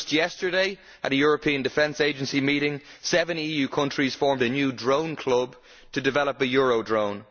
Just yesterday, at the European Defence Agency meeting, seven EU countries formed a new drone club to develop a EuroDrone.